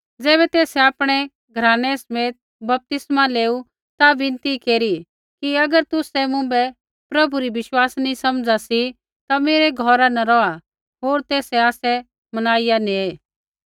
ज़ैबै तेसै आपणै घरानै समेत बपतिस्मा लेऊ ता बिनती केरी कि अगर तुसै मुँभै प्रभु री विश्वासिनी समझा सी ता मेरै घौरा न रौहा होर तेसै आसै मनाइया नेऐ